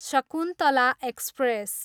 Shakuntala express